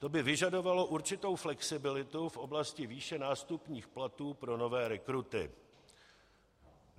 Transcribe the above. To by vyžadovalo určitou flexibilitu v oblasti výše nástupních platů pro nové rekruty.